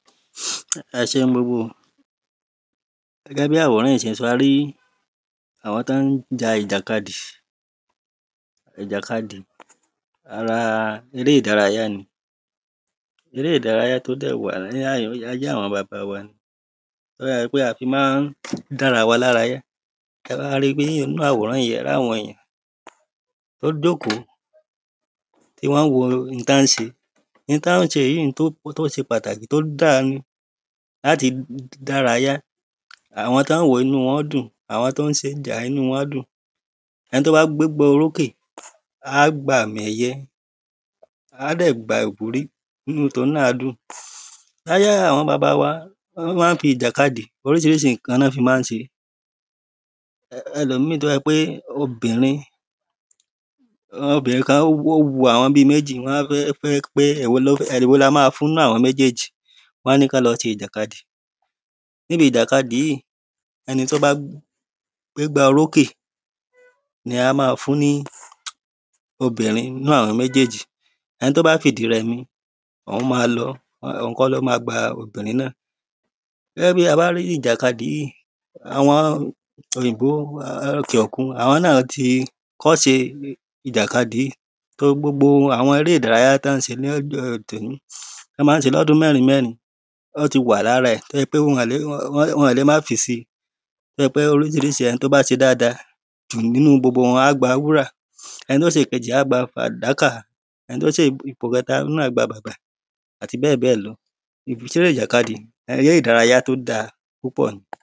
ẹ ṣeun gbogbo ò gẹ́gẹ́ bí àwòrán yí ṣe sọ arí àwọn tọ́ ń ja ìjà kadì ìjà kadì ara eré ìdárayá ní. eré ìdárayá tó dẹ̀ wà láyé àwọn baba wa ni a fi máa ń dára wa lára yá ni tabá ri pé nínú àwòrán yí a rí àwọn ènìyàn tó ń jókòó tí wọ́n ń wo ohun tọ́ ń ṣe ohun tọ́ ń ṣe yí jẹ́ ohun tó ṣe pàtàkì tó dára ni láti dára yá àwọn tọ́ ń wòó inú wọn ń dùn, àwọn tó ń ṣeé inú wọn ń dùn ẹni tó bá gbégbá orókè á gba àmì ẹ̀yẹ, á dẹ̀ gba ìwúrí inú tòhun náà á dùn láyé àwọn baba wa wọ́n máa ń fi ìjà kadì, oríṣiríṣi ǹkan ná fi máa ń ṣe ẹlòmíì tó bá ṣe pé obìnrin obìnrin kan ó wu bí àwọn méjì wọ́n á fẹ́ pé èwo ni ka fún nínú àwọn méjèèjì wọ́n á ní kán lọ ṣe ìjàkadì níbi ìjà kadì yìí ẹni tó bá gbégbá orókè ni a máa fún ní obìrin nínú àwọn méjèèjì ẹni tó bá fìdí rẹmi òhun máa lọ òhun kọ́ ló ma gba obìrin náà gẹ́gẹ́ bí a bá rí ìjà kadì yìí àwọn òyìnbó ní òkè òkun àwọn náà ti kọ́ṣe ìjà kadì yìí so gbogbo àwọn eré ìdárayá tí wọ́n ṣe lóde tòní tọ́ máa ń ṣe lọ́dún mẹ́rin mẹ́rin ó ti wà lára rẹ̀ tó jẹ́ pé wọn ò lè um má fisi tó jẹ́ pé oríṣiríṣi ẹni tó bá ṣe dáadáa jù nínú gbogbo wọn, wọ́n á gba wúrà, ẹni tó ṣèkejì á gba fàdákà, ẹni tó ṣe ipò kẹ́ta nínú ẹ̀ á gba bàbà àti bẹ́ẹ̀bẹ́ẹ̀ lọ eré ìjà kadì eré ìdárayá tó dáa púpọ̀ ni.